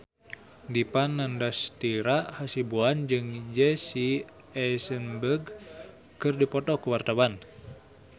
Dipa Nandastyra Hasibuan jeung Jesse Eisenberg keur dipoto ku wartawan